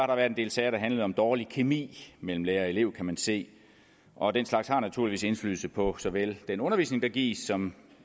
der været en del sager der handlede om dårlig kemi mellem lærer og elev kan man se og den slags har naturligvis indflydelse på såvel den undervisning der gives som